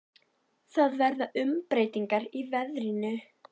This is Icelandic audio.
Það verða umbreytingar í veðrinu.